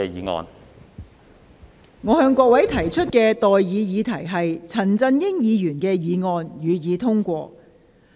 我現在向各位提出的待議議題是：陳振英議員動議的議案，予以通過。